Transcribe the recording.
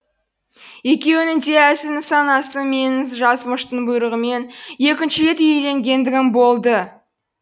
екеуінің де әзіл нысанасы менің жазмыштың бұйрығымен екінші рет үйленгендігім болды